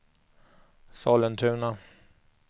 Sollentuna